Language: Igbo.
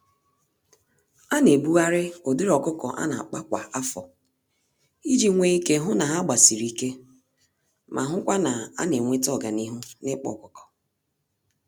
Anyị naebugharị ụdịrị ọkụkọ ana-akpa kwa afọ, iji nwe ike hụ na ha nagbasi ike, ma hụkwa na ana enweta ọganihu nikpa ọkụkọ